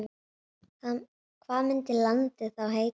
Hvað myndi landið þá heita?